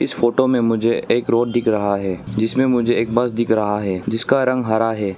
Photo में मुझे एक रोड दिख रहा है जिसमें मुझे एक बस दिख रहा है जिसका रंग हरा है।